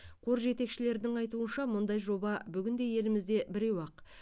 қор жетекшілерінің айтуынша мұндай жоба бүгінде елімізде біреу ақ